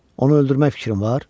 Onu öldürmək fikrin var?